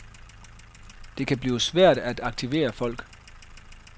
Det kan blive svært at aktivere folk.